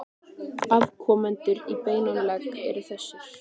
Afkomendur í beinan legg eru þessir